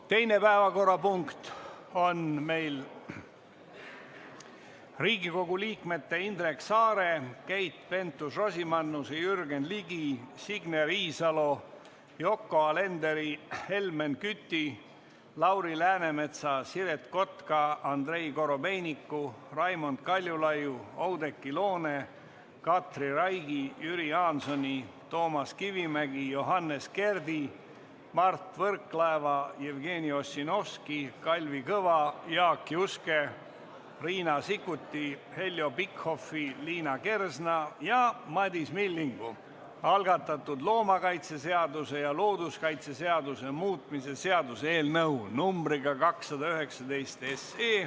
Teine päevakorrapunkt on Riigikogu liikmete Indrek Saare, Keit Pentus-Rosimannuse, Jürgen Ligi, Signe Riisalo, Yoko Alenderi, Helmen Küti, Lauri Läänemetsa, Siret Kotka, Andrei Korobeiniku, Raimond Kaljulaiu, Oudekki Loone, Katri Raigi, Jüri Jaansoni, Toomas Kivimägi, Johannes Kerdi, Mart Võrklaeva, Jevgeni Ossinovski, Kalvi Kõva, Jaak Juske, Riina Sikkuti, Heljo Pikhofi, Liina Kersna ja Madis Millingu algatatud loomakaitseseaduse ja looduskaitseseaduse muutmise seaduse eelnõu numbriga 219.